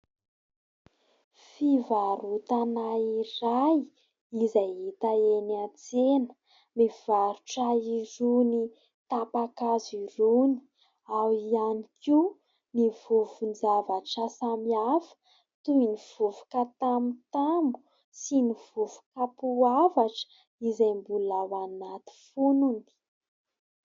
Fivarotana iray izay hita eny an-tsena mivarotra irony tapa-kazo irony ao ihany koa ny vovon-javatra samihafa toy ny vovoka tamotamo sy ny vovoka poavatra izay mbola ao anaty fonony.